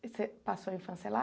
e Você passou a infância lá?